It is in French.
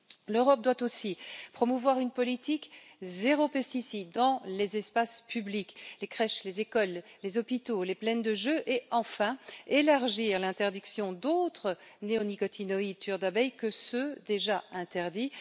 L'Europe doit aussi promouvoir une politique zéro pesticides dans les espaces publics, les crèches, les écoles, les hôpitaux, les plaines de jeux et, enfin, élargir l'interdiction à d'autres néonicotinoïdes tueurs d'abeilles que ceux déjà interdits.